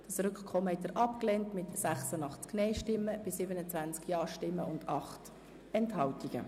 Sie haben das Rückkommen abgelehnt mit 86 Nein- zu 27 Ja-Stimmen und 8 Enthaltungen.